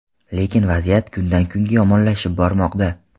Lekin vaziyat kundan-kunga yomonlashib bormoqda.